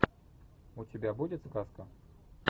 у тебя будет сказка